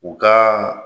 U ka